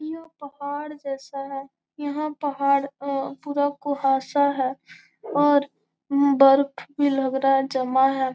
यहाँ पहाड़ जैसा है यहाँ पहाड़ अ पूरा कुहासा है और बर्फ भी लगा रहा है जमा है।